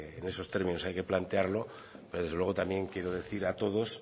en esos términos hay que plantearlo pero desde luego también quiero decir a todos